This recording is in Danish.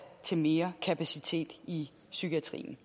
til mere kapacitet i psykiatrien